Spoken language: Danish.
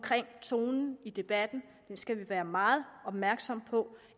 tonen i debatten den skal vi være meget opmærksomme på